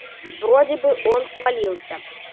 вроде бы он свалился